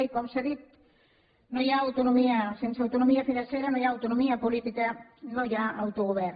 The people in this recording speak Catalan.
i com s’ha dit sense autonomia financera no hi ha autonomia política no hi ha autogovern